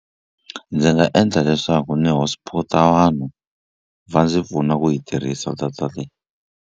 Ndzi nga endla leswaku ni Hotspot-a vanhu va ndzi pfuna ku yi tirhisa data leyi.